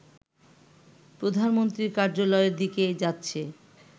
প্রধানমন্ত্রীর কার্যালয়ের দিকে যাচ্ছে